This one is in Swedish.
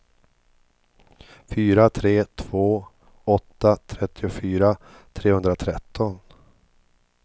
fyra tre två åtta trettiofyra trehundratretton